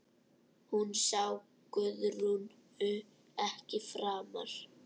Hún sá Guðrúnu ekki framar.